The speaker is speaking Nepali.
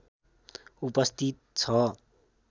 उपस्थित छ